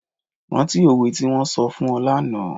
Rántí òwe tí wón sọ fún ọ lánàá.